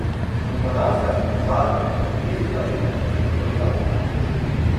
Spomladanska zmrzal je oklestila letošnjo letino jabolk in hrušk.